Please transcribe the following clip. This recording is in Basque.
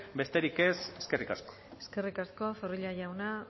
besterik ez eskerrik asko eskerrik asko zorrilla jauna